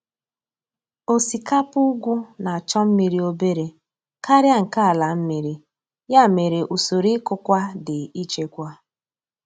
Osikapa ugwu na-achọ mmiri obere karịa nke ala mmiri, ya mere usoro ịkụkwa dị ichekwa.